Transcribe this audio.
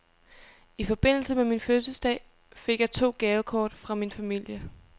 I forbindelse med min fødselsdag fik jeg to gavekort fra min familie.